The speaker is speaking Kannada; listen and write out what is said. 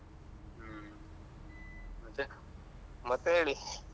ಹ್ಮ್ ಮತ್ತೆ. ಮತ್ತೆ ಹೇಳಿ.